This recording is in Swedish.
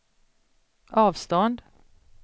avstånd